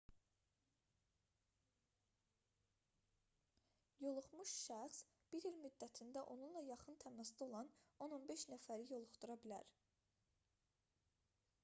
yoluxmuş şəxs bir il müddətində onunla yaxın təmasda olan 10-15 nəfəri yoluxdura bilər